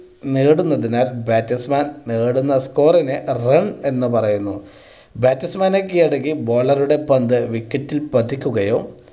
നേടുന്നുണ്ട് എന്നാൽ batsman നേടുന്ന score നെ run എന്ന് പറയുന്നു. batsman നിനെ കീഴടക്കി bowler ടെ പന്ത് wicket ൽ പതിക്കുകയോ